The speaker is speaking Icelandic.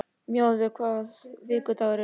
Mjaðveig, hvaða vikudagur er í dag?